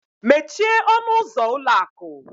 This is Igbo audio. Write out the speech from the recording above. Mechie ọnụ ụzọ ụlọ akụ!